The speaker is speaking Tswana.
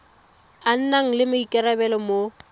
a nang le maikarabelo mo